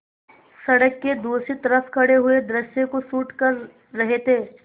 सड़क के दूसरी तरफ़ खड़े पूरे दृश्य को शूट कर रहे थे